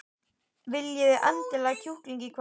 Viljiði elda kjúkling í kvöld?